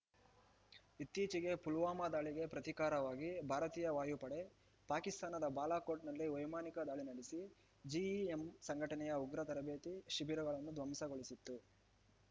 ಇತ್ತೀಚೆಗೆ ಪುಲ್ವಾಮಾ ದಾಳಿಗೆ ಪ್ರತೀಕಾರವಾಗಿ ಭಾರತೀಯ ವಾಯುಪಡೆ ಪಾಕಿಸ್ತಾನದ ಬಾಲಾಕೋಟ್‌ನಲ್ಲಿ ವೈಮಾನಿಕ ದಾಳಿ ನಡೆಸಿ ಜಿಇಎಂ ಸಂಘಟನೆಯ ಉಗ್ರ ತರಬೇತಿ ಶಿಬಿರಗಳನ್ನು ಧ್ವಂಸಗೊಳಿಸಿತ್ತು